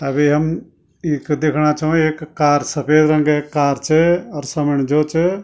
अबि हम ईख दिखणा छौ एक कार सफेद रंगे क कार च अर समणि जो च।